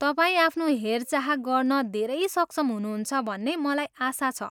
तपाईँ आफ्नो हेरचाह गर्न धेरै सक्षम हुनुहुन्छ भन्ने मलाई आशा छ।